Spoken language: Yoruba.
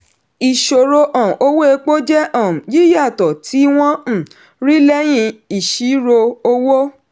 ìṣirò um owó epo jẹ́ um yíyàtọ̀ tí wọ́n um rí lẹ́yìn ìṣirò owó.